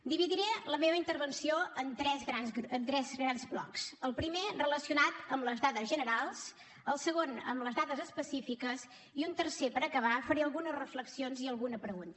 dividiré la meva intervenció en tres grans blocs el primer relacionat amb les dades generals el segon amb les dades específiques i un tercer per acabar on faré algunes reflexions i alguna pregunta